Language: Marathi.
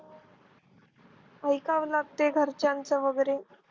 ऐकावे लागते घरच्यांचं वगैरे.